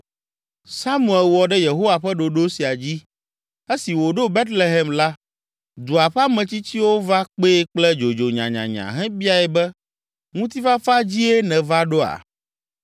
Samuel wɔ ɖe Yehowa ƒe ɖoɖo sia dzi. Esi wòɖo Betlehem la, dua ƒe ametsitsiwo va kpee kple dzodzo nyanyanya hebiae be, “Ŋutifafa dzie nèva ɖoa?”